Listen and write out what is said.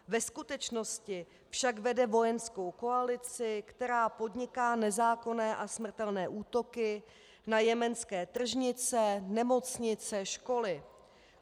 Ve skutečnosti však vede vojenskou koalici, která podniká nezákonné a smrtelné útoky na jemenské tržnice, nemocnice, školy.